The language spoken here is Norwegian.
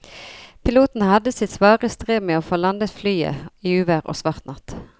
Piloten hadde sitt svare strev med å få landet flyet i uvær og svart natt.